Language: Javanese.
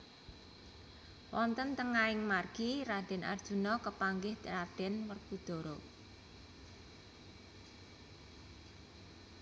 Wonten tengahing margi Raden Arjuna kepanggih Raden Werkudara